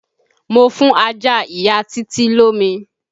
Mo fún ajá ìya Títí lómi.